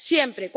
siempre